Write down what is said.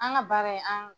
An ka baara in an